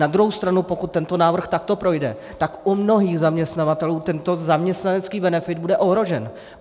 Na druhou stranu pokud tento návrh takto projde, tak u mnohých zaměstnavatelů tento zaměstnanecký benefit bude ohrožen.